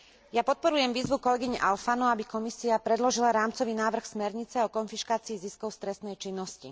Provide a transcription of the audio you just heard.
Ja podporujem výzvu kolegyne Alfano, aby Komisia predložila rámcový návrh smernice o konfiškácii ziskov z trestnej činnosti.